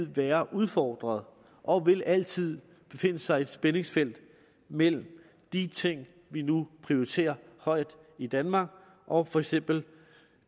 være udfordret og vil altid befinde sig i et spændingsfelt mellem de ting vi nu prioriterer højt i danmark og for eksempel